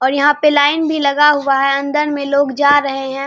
और यहाँ पे लाइन भी लगा हुआ है अंदर में लोग जा रहे हैं।